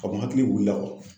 Ka bon hakili wilila la